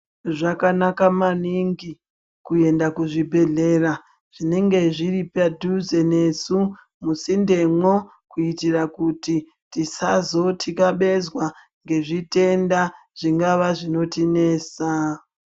Zvakanaka maningi kuenda kuzvibhedhlera zvinenge zviri padhuze nesu, musindemwo kuitira kuti tisazothikabezwa ngezvitenda zvingava zvinotinesa.